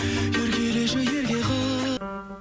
еркелеші ерке қыз